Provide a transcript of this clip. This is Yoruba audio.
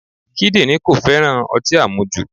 Kídírìn kò féràn ọtí àmujù.